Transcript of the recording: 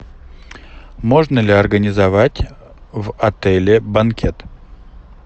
можно ли организовать в отеле банкет